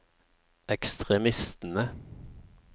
ekstremistene